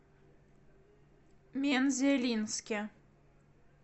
мензелинске